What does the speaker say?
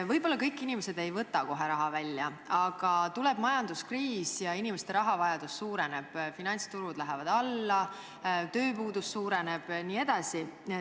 Võib-olla kõik inimesed ei võta kohe raha välja, aga tuleb majanduskriis ja inimeste rahavajadus suureneb, finantsturud lähevad alla, tööpuudus suureneb jne.